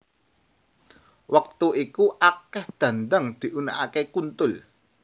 Wektu iku akeh dhandhang diunekake kuntul